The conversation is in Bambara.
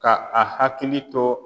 Ka a hakili to